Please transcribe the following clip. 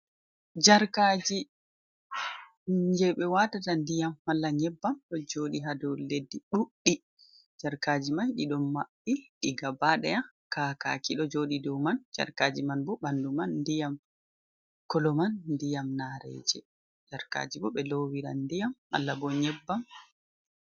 Jarkaji je ɓe watata ndiyam malla nyebbam. Ɗo joɗi haa dou leddi ɗuɗɗi jarkaaji mai. Ɗiɗo maɓɓi ɗi gaba ɗaya, kakaki ɗo joɗi dou man. Jarkaji man bo ɓandu man ndiyam kolo man ndiyam naareje. Jarkaji bo ɓe lowiran ndiyam, mallah bo nyebbam.